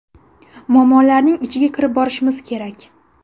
Muammolarning ichiga kirib borishimiz kerak.